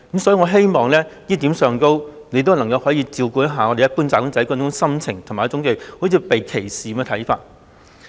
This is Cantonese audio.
"所以，在這一點上，我希望局長能照顧一般"打工仔"這種心情，以及他們猶如被歧視的看法。